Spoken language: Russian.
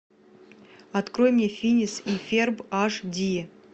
открой мне финес и ферб аш ди